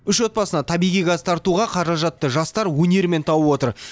үш отбасына табиғи газ тартуға қаражатты жастар өнерімен тауып отыр